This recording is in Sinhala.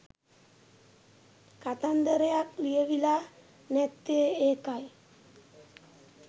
කතන්දරයක් ලියවිලා නැත්තෙ ඒකයි.